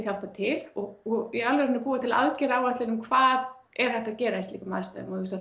hjálpa til og í alvöru að búa til aðgerðaráætlun um hvað er hægt að gera í slíkum aðstæðum